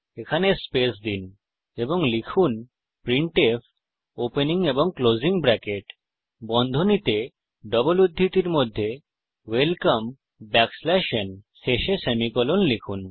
এখানে স্পেস দিন এবং লিখুন প্রিন্টফ ওয়েলকাম ন শেষে সেমিকোলন লিখুন